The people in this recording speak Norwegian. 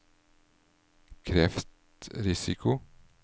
kreftrisiko